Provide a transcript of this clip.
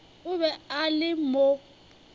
o be a le mo